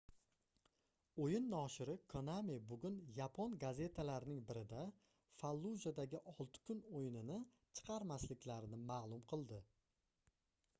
oʻyin noshiri konami bugun yapon gazetalarining birida fallujadagi olti kun oʻyinini chiqarmasliklarini maʼlum qildi